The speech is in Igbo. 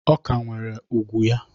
Ọ ka nwere ugwu ya